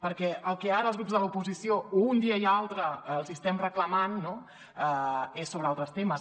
perquè el que ara els grups de l’oposició un dia i altre els estem reclamant no és sobre altres temes